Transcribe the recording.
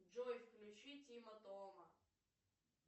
джой включи тима тома